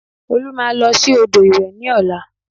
Olú máa lọ sí odò ìwẹ̀ ní ọ̀la